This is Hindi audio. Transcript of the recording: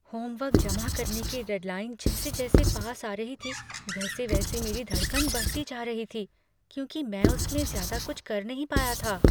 होमवर्क जमा करने की डेडलाइन जैसे जैसे पास आ रही थी वैसे वैसे मेरी धड़कन बढ़ती जा रही थी क्योंकि मैं उसमें ज्यादा कुछ कर नहीं पाया था।